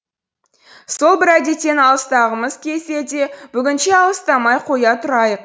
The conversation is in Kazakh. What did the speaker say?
сол бір әдеттен алыстағымыз келсе де бүгінше алыстамай қоя тұрайық